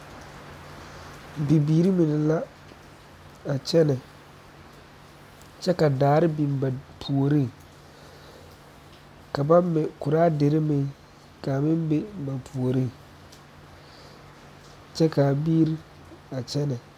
Bibiiri mine la a kyɛnɛ kyɛ ka daare biŋ ba puoriŋ ka ba mɛ kuraa dire meŋ kaa meŋ be ba puoriŋ kyɛ kaa biiri a kyɛnɛ